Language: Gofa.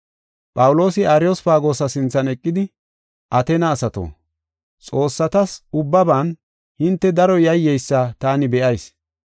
Phawuloosi Ariyospagoosa sinthan eqidi, “Ateena asato, xoossatas ubbaban hinte daro yayyeysa taani be7ayis.